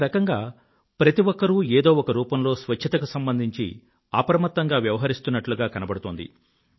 ఒక రకంగా ప్రతి ఒక్కరూ ఏదో ఒక రూపంలో స్వచ్ఛత కు సంబంధించి అప్రమత్తంగా వ్యవహరిస్తుట్లుగా కనబడుతోంది